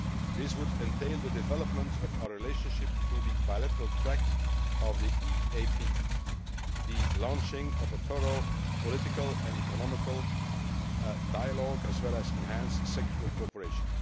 This would entail the development of our relationship through the bilateral track of the EAP, the launching of a thorough political and economic dialogue, as well as enhanced sectoral cooperation.